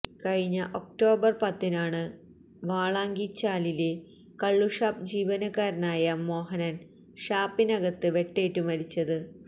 കഴിഞ്ഞ ഒക്ടോബര് പത്തിനാണ് വാളാങ്കിച്ചാലിലെ കള്ളുഷാപ്പ് ജീവനക്കാരനായ മോഹനന് ഷാപ്പിനകത്ത് വെട്ടേറ്റുമരിച്ചത്